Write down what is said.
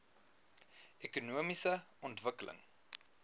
ekonomiese ontwikkeling